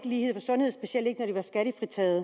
lighed i sundhed specielt ikke at